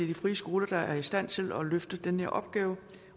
de frie skoler der er i stand til at løfte den her opgave